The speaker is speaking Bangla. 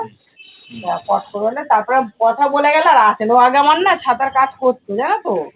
তারপরে কথা বলে গেলো আর আসে নি। ও আগে আমার না ছাতার কাজ করতো জানো তো?